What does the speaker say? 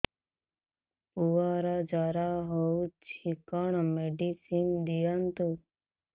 ପୁଅର ଜର ହଉଛି କଣ ମେଡିସିନ ଦିଅନ୍ତୁ